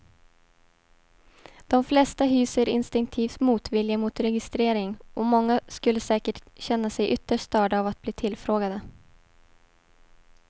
De flesta hyser instinktiv motvilja mot registrering och många skulle säkert känna sig ytterst störda av att bli tillfrågade.